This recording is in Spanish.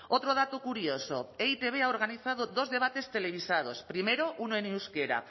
otro dato curioso e i te be ha organizado dos debates televisados primero uno en euskera